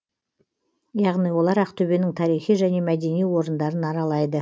яғни олар ақтөбенің тарихи және мәдени орындарын аралайды